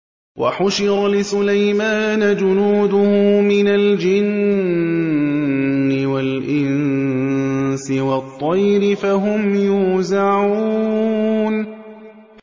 وَحُشِرَ لِسُلَيْمَانَ جُنُودُهُ مِنَ الْجِنِّ وَالْإِنسِ وَالطَّيْرِ فَهُمْ يُوزَعُونَ